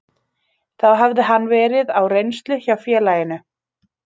Þá hafði hann verið á reynslu hjá félaginu.